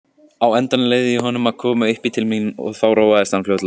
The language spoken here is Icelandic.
Á endanum leyfði ég honum að koma uppí til mín og þá róaðist hann fljótlega.